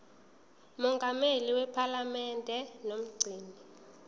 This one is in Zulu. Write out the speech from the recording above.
mongameli wephalamende nomgcini